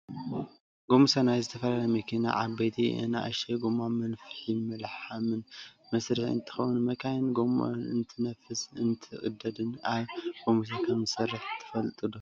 ጎሚስታ ናይ ዝተፈላለያ መኪና ዓበይተን ኣናእሽትን ጎማ መንፍሕን መልሓምን መስርሒ እንትከውን መካይን ጎመኣን እንትነፍስን እንትቅደድን ኣብ ጎሚስታ ከምዘስርሕዎ ትፈልጡ ዶ ?